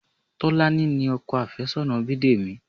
Tolani ni ọkọ àfẹ́sọ́nà Bidemi